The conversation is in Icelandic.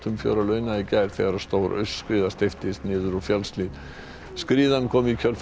fjör að launa í gær þegar stór aurskriða steyptist niður úr fjallshlíð skriðan kom í kjölfar